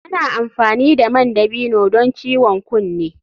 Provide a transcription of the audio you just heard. Ana amfani da man dabino don ciwon kunne.